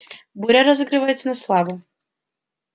буря разыгрывается на славу